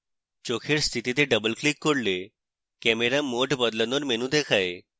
চোখের স্থিতিতে double click করলে camera mode বদলানোর menu দেখায়